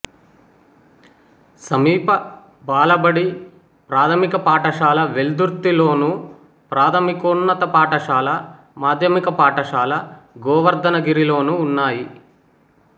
సమీప బాలబడి ప్రాథమిక పాఠశాల వెల్దుర్తిలోను ప్రాథమికోన్నత పాఠశాల మాధ్యమిక పాఠశాల గోవర్ధనగిరిలోనూ ఉన్నాయి